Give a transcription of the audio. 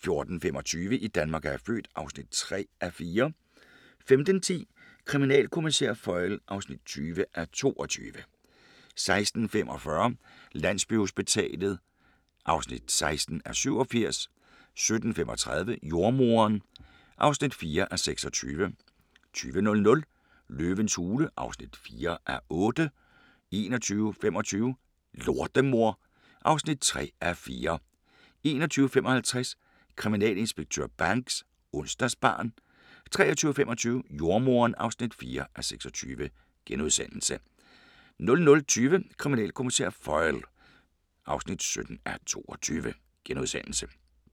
14:25: I Danmark er jeg født (3:4) 15:10: Kriminalkommissær Foyle (20:22) 16:45: Landsbyhospitalet (16:87) 17:35: Jordemoderen (4:26) 20:00: Løvens hule (4:8) 21:25: Lortemor (3:4) 21:55: Kriminalinspektør Banks: Onsdagsbarn 23:25: Jordemoderen (4:26)* 00:20: Kriminalkommissær Foyle (17:22)*